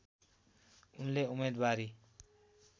उनले उम्मेदवारी